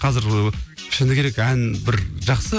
қазір ыыы шыны керек ән бір жақсы